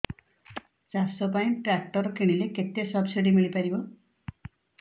ଚାଷ ପାଇଁ ଟ୍ରାକ୍ଟର କିଣିଲେ କେତେ ସବ୍ସିଡି ମିଳିପାରିବ